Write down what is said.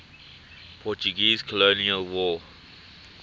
portuguese colonial war